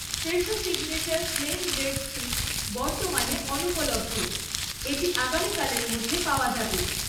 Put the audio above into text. Fresho signature plain bread sticks বর্তমানে অনুপলব্ধ, এটি আগামীকালের মধ্যে পাওয়া যাবে।